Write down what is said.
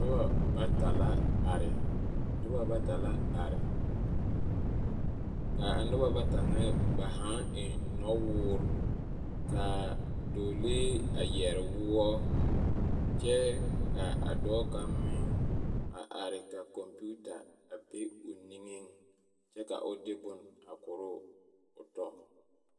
Noba bata la are ka a noba bata ŋa ba hãã eŋ nɔ-woore ka dɔɔlee a yɛre woɔ kyɛ ka a dɔɔ kaŋa meŋ are ka kɔmpiita a be o niŋeŋ kyɛ ka o de bone korɔ o tɔ.